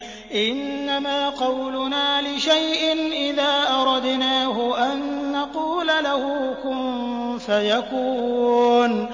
إِنَّمَا قَوْلُنَا لِشَيْءٍ إِذَا أَرَدْنَاهُ أَن نَّقُولَ لَهُ كُن فَيَكُونُ